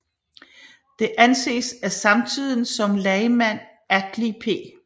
Det anses af samtiden som lagmand Atli P